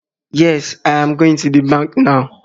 Yes, I am going to the bank now